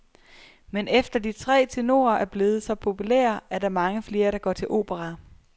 Men efter de tre tenorer er blevet så populære, er der mange flere, der går til opera.